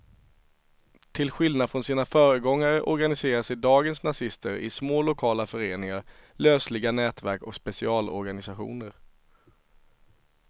Till skillnad från sina föregångare organiserar sig dagens nazister i små lokala föreningar, lösliga nätverk och specialorganisationer.